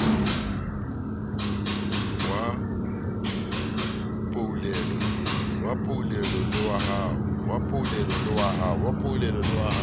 wa poulelo le wa ho